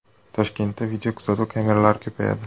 Toshkentda videokuzatuv kameralari ko‘payadi.